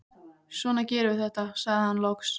Svona gerum við þetta, sagði hann loks.